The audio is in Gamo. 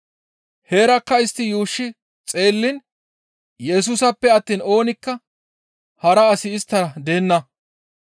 Heerakka istti yuushshi xeelliin Yesusappe attiin oonikka hara asi isttara deenna.